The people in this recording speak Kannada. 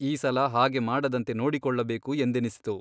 ಈ ಸಲ ಹಾಗೆ ಮಾಡದಂತೆ ನೋಡಿಕೊಳ್ಳಬೇಕು ಎಂದೆನಿಸಿತು.